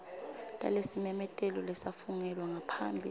talesimemetelo lesafungelwa ngaphambi